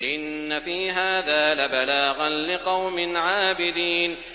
إِنَّ فِي هَٰذَا لَبَلَاغًا لِّقَوْمٍ عَابِدِينَ